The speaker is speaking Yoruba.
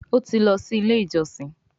o tí lọ sì ilé ìjósìn.